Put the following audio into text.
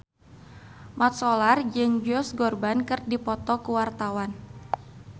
Mat Solar jeung Josh Groban keur dipoto ku wartawan